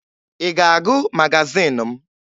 Ị ga-agụ magazin m?